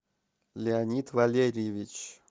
леонид валерьевич